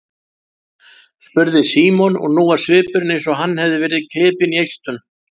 spurði Símon og nú var svipurinn eins og hann hefði verið klipinn í eistun.